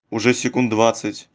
уже секунд двадцать